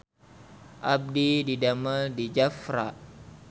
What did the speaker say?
Abdi didamel di Jafra